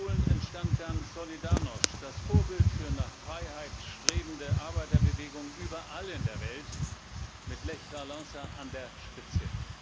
wieder in Polen entstand dann Solidarność, das Vorbild für nach Freiheit strebende Arbeiterbewegungen überall in der Welt mit Lech Wałęsa an der Spitze.